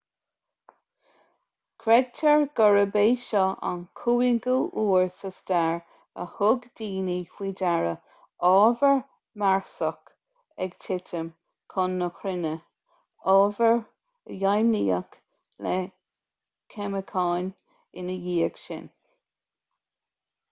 creidtear gurb é seo an cúigiú huair sa stair a thug daoine faoi deara ábhar marsach ag titim chun na cruinne ábhar a deimhníodh le ceimiceáin ina dhiaidh sin